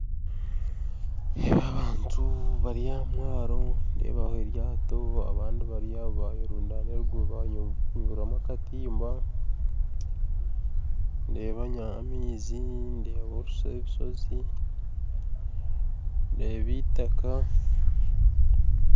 Nindeeba abantu bari ahamwaro nindeebaho eryato abandi bari aho bayerundana eruguru banyuramu akatimba ndeeba amaizi, ndeeba orushozi ndeeba itaka.